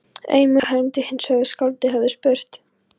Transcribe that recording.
Ein munnmælasaga hermdi hinsvegar að skáldið hefði spurt